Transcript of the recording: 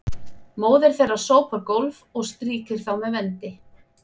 móðir þeirra sópar gólf og strýkir þá með vendi